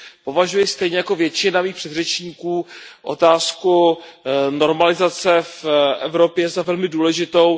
Považuji stejně jako většina mých předřečníků otázku normalizace v Evropě za velmi důležitou.